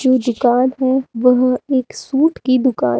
जो दुकान है वह एक सूट की दुकान--